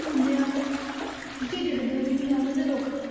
ਦਿੰਦੇ ਹਨ ਝਿਜਕਦਾ ਵੀ ਨੀ ਹਨ ਤੇ ਰੁੱਖ